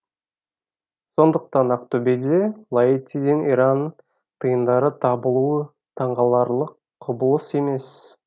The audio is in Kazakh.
сондықтан ақтөбеде лаэтиден иран тиындары табылуы таңғаларлық құбылыс емес